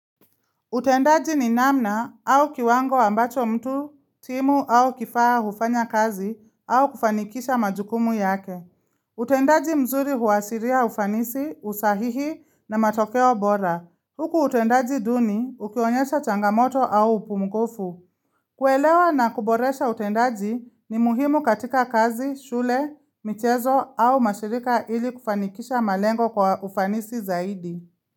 Utendaji ni namna au kiwango ambacho mtu, timu au kifaa hufanya kazi au kufanikisha majukumu yake. Utendaji mzuri huashiria ufanisi, usahihi na matokeo bora. Huku utendaji duni, ukiwaonyesha changamoto au upungufu. Kuelewa na kuboresha utendaji ni muhimu katika kazi, shule, michezo au mashirika ili kufanikisha malengo kwa ufanisi zaidi.